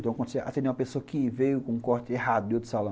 Então, quando você atendia uma pessoa que veio com um corte errado de outro salão.